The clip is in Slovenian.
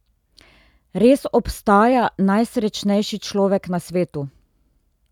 Res obstaja najsrečnejši človek na svetu?